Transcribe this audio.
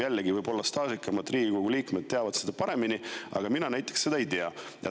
Jällegi, võib-olla staažikamad Riigikogu liikmed teavad seda, aga mina ei tea.